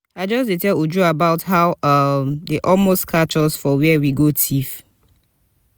i just dey tell uju about how um dey almost catch us for where we go thief